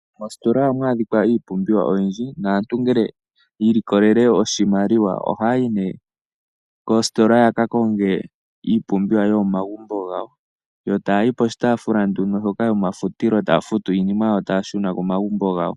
Moositola ohamu adhika iipumbiwa oyindji, naantu ngele yi ilikolele oshimaliwa ohaya yi nee koositola yaka konge iipumbiwa yomo magumbo gawo. Yo tayayi poshitaafula nduno mbyoka yomafutilo, taya futu iinima yawo taya shuna komagumbo gawo.